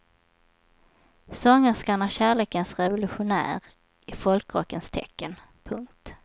Sångerskan är kärlekens revolutionär i folkrockens tecken. punkt